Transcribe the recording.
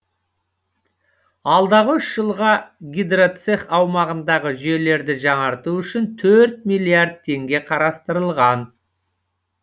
алдағы үш жылға гидроцех аумағындағы жүйелерді жаңарту үшін төрт миллиард теңге қарастырылған